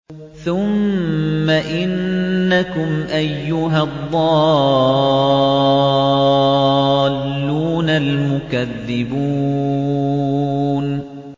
ثُمَّ إِنَّكُمْ أَيُّهَا الضَّالُّونَ الْمُكَذِّبُونَ